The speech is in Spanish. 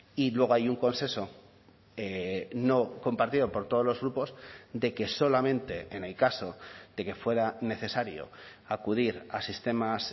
y luego hay un consenso no compartido por todos los grupos de que solamente en el caso de que fuera necesario acudir a sistemas